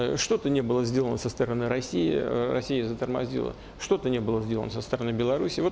ээ что то не было сделано со стороны россии ээ россия затормозила что-то не было сделано со стороны белоруссии вот